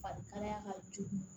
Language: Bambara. Farikalaya ka jugu